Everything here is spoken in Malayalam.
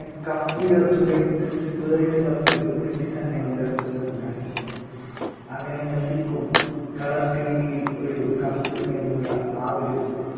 cup ഉയർത്തുകയും world cup മെസ്സി തന്നെ ഉയർത്തുകയുണ്ടായി അങ്ങനെ മെസ്സിക്കും colour TV യിൽ ഒരു cup എന്നുള്ള ആ ഒരു